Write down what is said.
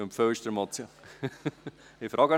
Ich frage noch einmal.